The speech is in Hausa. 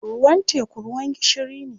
Ruwan teku ruwan gishiri ne.